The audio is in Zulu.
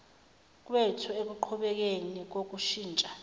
kwethu ekuqhubekeni kokushintsha